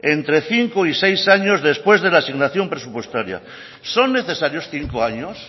entre cinco y seis años después de la asignación presupuestaria son necesarios cinco años